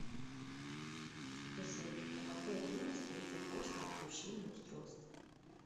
джой на какое время стоит запрос на отключение устройства